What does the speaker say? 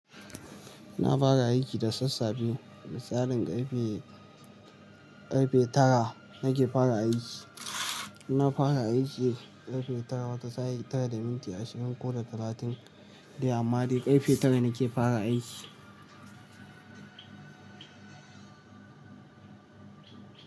Na fara aiki da sassafe da tsarin karfe, karfe tara nake fara aiki. Na fara aiki karfe tara, wata sa'in tara da minti ashirin ko da talatin dai amma dai karfe tara nake fara aiki.